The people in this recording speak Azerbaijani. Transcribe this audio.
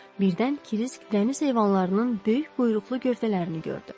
Birdən Krisk dəniz heyvanlarının böyük quyruqlu gövdələrini gördü.